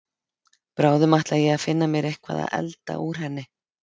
Bráðum ætla ég að finna mér eitthvað að elda úr henni.